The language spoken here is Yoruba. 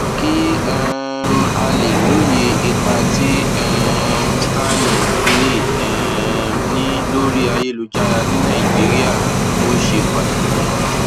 kí um a lè lóye ipa tí um starlink lè um ní lórí ayélujára ní nàìjíríà ó ṣe pàtàkì